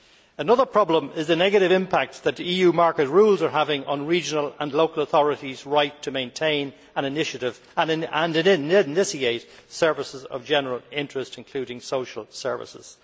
Another problem is the negative impact that EU market rules are having on regional and local authorities' right to maintain and initiate services of general interest, including social services.